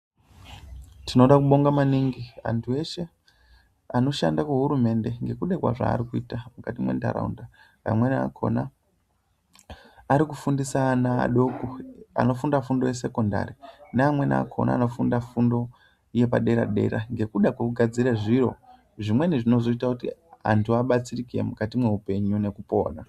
Tinoda kubonga maningi antu eshe anoshanda kuhurumende ngekuda kwezvaari kuita mukati mwendaraunda, amweni akhona ari kufundisa ana adoko anofunda fundo yesekondari neamweni akhona anofunda fundo yepadera dera ngekuda kwekugadzira zviro zvimweni zvinozoita kuti antu abatsirike mukati mweupenyu nekupona.